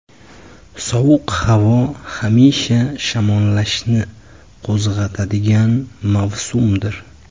Sovuq havo hamisha shamollashni qo‘zg‘atadigan mavsumdir.